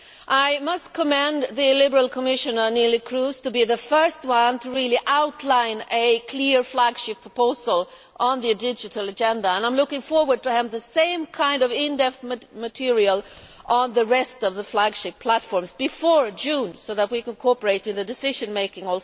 I must commend the Liberal Commissioner, Neelie Kroes, on being the first to really outline a clear flagship proposal on the digital agenda, and I am looking forward to having the same kind of in depth material on the rest of the flagship platforms before June, so that we can also cooperate in the decision making.